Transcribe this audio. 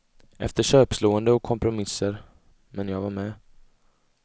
Efter köpslående och kompromisser, men jag var med.